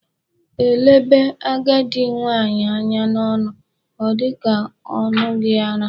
Elebe agadi nwaanyị anya n'ọnụ ọ dị ka ọ ṅụghị ara.